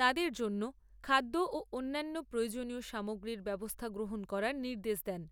তাঁদের জন্য খাদ্য ও অন্যান্য প্রয়োজনীয় সামগ্রীর ব্যবস্থা গ্রহণ করার নির্দেশ দেন।